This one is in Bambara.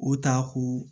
O ta ko